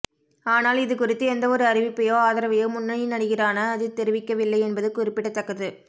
ஆனால் இது குறித்து எந்தவொரு அறிவிப்பையோ ஆதரவையோ முன்னணி நடிகரான அஜித் தெரிவிக்கவில்லை என்பது குறிப்பிடத்தக்கது